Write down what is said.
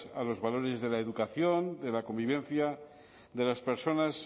a los valores de la educación de la convivencia de las personas